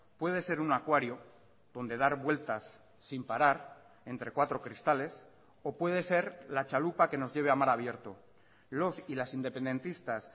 puede ser un acuario donde dar vueltas sin parar entre cuatro cristales o puede ser la chalupa que nos lleve a mar abierto los y las independentistas